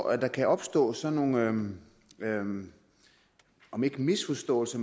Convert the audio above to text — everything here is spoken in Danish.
at der kan opstå sådan nogle om ikke misforståelser